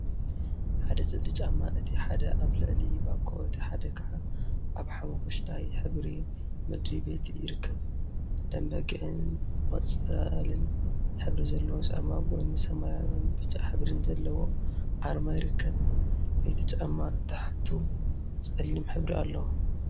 ሓደ ፅምዲ ጫማ እቲ ሓደ አብ ልዕሊ ባኮ እቲ ሓደ ከዓ አብ ሓመኩሽታይ ሕብሪ ምድሪ ቤት ይርከቡ፡፡ ደምበጊዕን ቆፃልን ሕብሪ ዘለዎ ጫማ ጎኑ ሰማያዊን ብጫ ሕብሪን ዘለዎ አርማ ይርከብ፡፡ ናይቲ ጫማ ታሕቱ ፀሊም ሕብሪ አለዎ፡፡